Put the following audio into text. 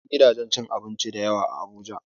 Akwai gidajen cin abinci da yawa a Abuja.